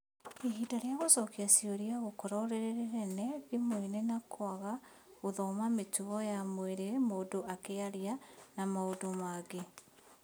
Ihinda rĩa gũcokia ciũria gũkorwo rĩrĩnene thimoinĩ na kũaga gũthoma mĩtugo ya mwirĩ mũndũ akĩaria na maũndũ mangĩ.